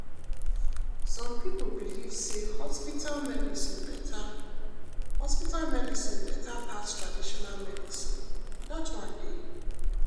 some pipo believe say hospital medicine beta hospital medicine beta pass traditional medicine dat one dey.